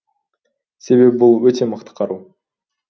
себебі бұл өте мықты қару